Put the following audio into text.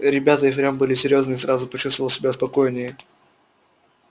ребята и впрямь были серьёзные я сразу почувствовал себя спокойнее